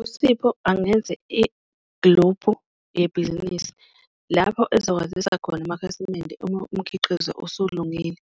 USipho angenze igluphu yebhizinisi lapho ezokwazisa khona amakhasimende uma umkhiqizo usulungile,